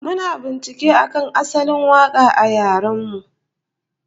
Muna bincike akan asalin waka a yaren mu